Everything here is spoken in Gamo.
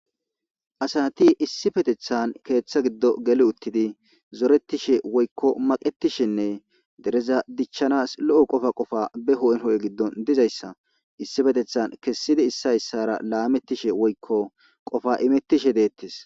asati issi patethan keeththa giddo geli uttidi zoretishe woykko maqetishenne dereza dichchanas lo7o qofa qofa be ho7en ho7e giddon dizayssa issi petethan kessidi issa issara laamettishe woykko qofa imettishe deettes.